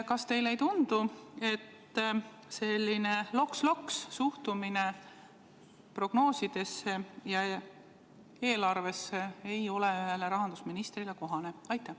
Kas teile ei tundu, et selline loks-loks-suhtumine prognoosidesse ja eelarvesse ei ole ühele rahandusministrile kohane?